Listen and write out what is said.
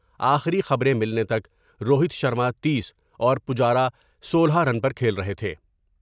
آخری خبریں ملنے تک روہت شرما تیس اور پجارا سولہ رن پھیل رہے تھے ۔